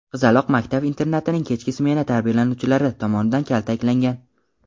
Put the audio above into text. qizaloq maktab-internatining kechki smena tarbiyalanuvchilari tomonidan kaltaklangan.